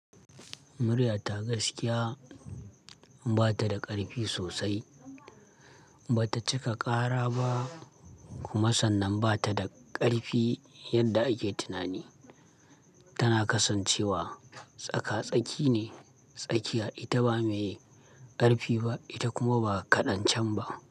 Muryarta gaskiya ba ta da ƙarfi sosai, ba ta cika ƙara ba kuma sannan ba ta da ƙarfi yadda ake tunani. Tana kasancewa tsaka-tsaki ne, tsakiya, ita ba mai ƙarfi ba, ita kuma ba kaɗan can ba.